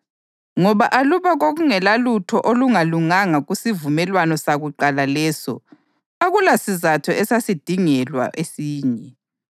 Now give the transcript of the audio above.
Ngoba aluba kwakungelalutho olungalunganga kusivumelwano sakuqala leso, akulasizatho esasingadingelwa esinye.